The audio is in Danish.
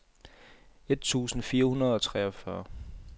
et tusind fire hundrede og treogfyrre